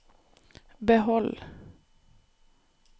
behold